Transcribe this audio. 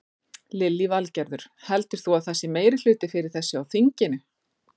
Lillý Valgerður: Heldur þú að það sé meirihluti fyrir þessu á þinginu?